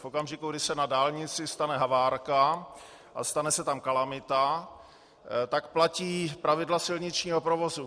V okamžiku, kdy se na dálnici stane havárka a stane se tam kalamita, tak platí pravidla silničního provozu.